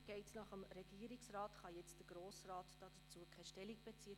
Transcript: Geht es nach dem Regierungsrat, könnte der Grosse Rat dazu keine Stellung beziehen.